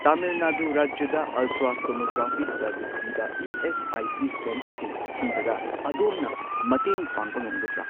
ꯇꯥꯃꯤꯜ ꯅꯥꯗꯨ ꯔꯥꯖ꯭ꯌꯗ ultrasonography service ꯄꯤꯕ ESIC. ꯁꯦꯟꯇꯔꯁꯤꯡ ꯊꯤꯕꯗ ꯑꯗꯣꯝꯅ ꯃꯇꯦꯡ ꯄꯥꯡꯕ ꯉꯝꯒꯗ꯭ꯔꯥ?